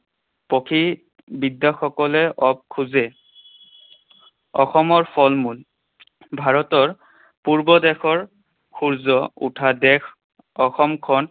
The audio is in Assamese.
প্ৰকৃ বিদসকলে কব খোজে। অসমৰ ফলমূল। ভাৰতৰ পূৰ্ব দেশৰ সূৰ্য উঠা দেশ অসমখন